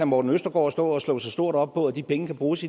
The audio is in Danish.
morten østergaard stå og slå sig stort op på at de penge kan bruges